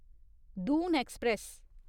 Doon express